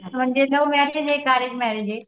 म्हणजे love marriage आहे का अरेंज मॅरेज ये?